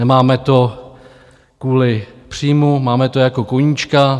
Nemáme to kvůli příjmu, máme to jako koníčka.